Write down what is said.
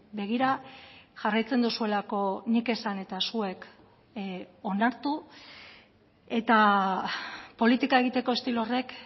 begira jarraitzen duzuelako nik esan eta zuek onartu eta politika egiteko estilo horrek